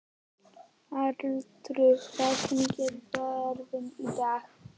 Arnaldur, hvernig er veðrið í dag?